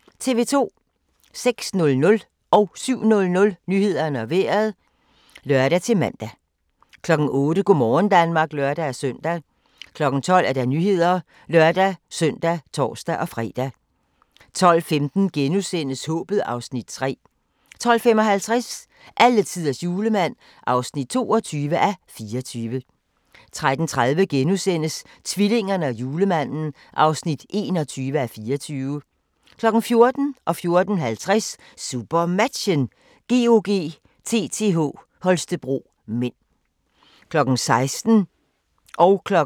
06:00: Nyhederne og Vejret (lør-søn) 07:00: Nyhederne og Vejret (lør-man) 08:00: Go' morgen Danmark (lør-søn) 12:00: Nyhederne (lør-søn og tor-fre) 12:15: Håbet (Afs. 3)* 12:55: Alletiders julemand (22:24) 13:30: Tvillingerne og julemanden (21:24)* 14:00: SuperMatchen: GOG-TTH Holstebro (m) 14:50: SuperMatchen: GOG-TTH Holstebro (m) 16:00: SuperMatchen: Skjern-Aalborg (m)